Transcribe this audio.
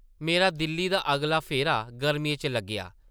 मेरा दिल्ली दा अगला फेरा गर्मियें च लग्गेआ ।